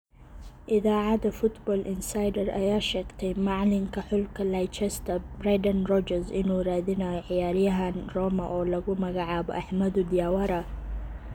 Iidacada Football insider aya sheegtey macalinka xulka Leicester Bredan Rodgers inuu radinayo ciyarihan Roma oo laku magacabo Ahmadu Diawara.